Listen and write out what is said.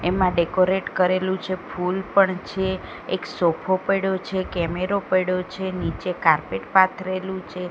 એમાં ડેકોરેટ કરેલું છે ફૂલ પણ છે એક સોફો પયડો છે કેમેરો પયડો છે નીચે કાર્પેટ પાથરેલું છે.